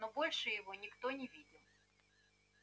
но больше его никто не видел